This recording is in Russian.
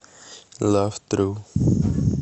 лав тру